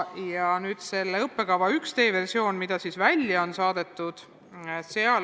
On olemas üks õppekava tööversioon, mis on aruteluks välja saadetud.